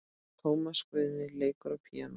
Tómas Guðni leikur á píanó.